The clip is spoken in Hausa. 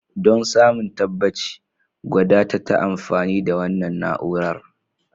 Don samun tabbaci, gwada ta ta amfani da wannan na'urar.